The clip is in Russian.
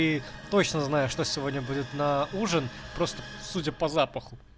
и точно знаю что сегодня будет на ужин просто судя по запаху